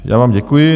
Já vám děkuji.